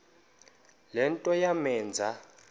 le nto yamenza